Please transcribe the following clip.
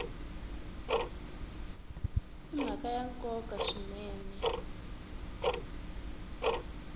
i mhaka ya nkoka swinene